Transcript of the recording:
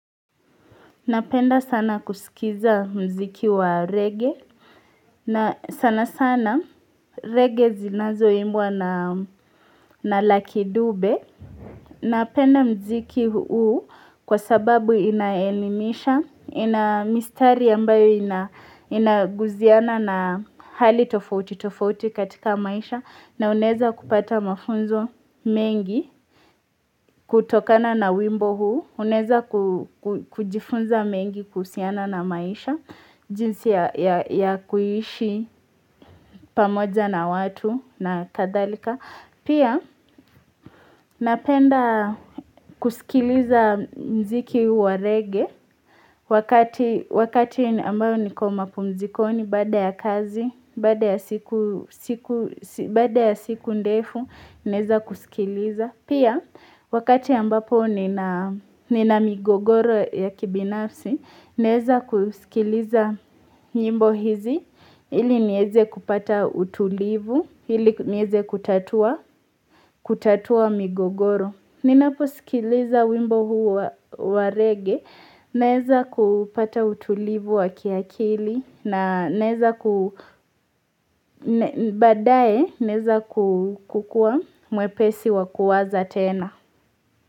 Napenda sana kusikiza muziki wa reggae. Na sana sana reggae zinazoimbwa na na Lucky Dube. Napenda muziki huu kwa sababu inaelimisha. Ina mistari ambayo inagusiana na hali tofauti tofauti katika maisha. Na unaweza kupata mafunzo mengi kutokana na wimbo huu. Unaweza kujifunza mengi kuhusiana na maisha jinsi ya ya ya kuishi pamoja na watu na kadhalika Pia napenda kusikiliza muziki wa reggae wakati Wakati ambayo niko mapumzikoni baada ya kazi baada ya siku Baada ya siku ndefu naweza kusikiliza. Pia, wakati ambapo nina nina migogoro ya kibinafsi, naweza kusikiliza nyimbo hizi ili niweze kupata utulivu, ili niweze kutatua kutatua migogoro. Ninaposikiliza wimbo huu wa wa reggae, naweza kupata utulivu wa kiakili, na naweza baadaye, naweza kukuwa mwepesi wa kuwaza tena.